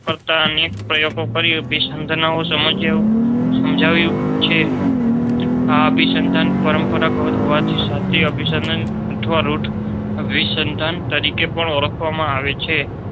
કરતા અન્ય પ્રયોગો કાર્ય. અભીસંધાન સમજ્યા સમજાવ્યું છે આ અભીસંધાન પરંપરાગત હોવાથી સાચી અભીસંધાન અથવા રૂથ અભીસંધાન તરીકે પણ ઓળખવામાં આવે છે.